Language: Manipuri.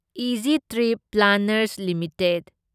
easy Trip Planners limited